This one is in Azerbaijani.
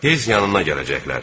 Tez yanına gələcəklər.